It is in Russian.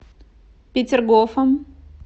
петергофом